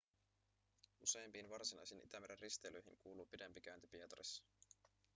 useimpiin varsinaisiin itämeren risteilyihin kuuluu pidempi käynti pietarissa